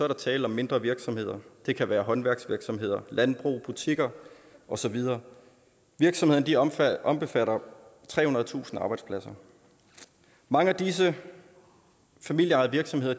der tale om mindre virksomheder det kan være håndværksvirksomheder landbrug butikker og så videre virksomhederne omfatter omfatter trehundredetusind arbejdspladser mange af disse familieejede virksomheder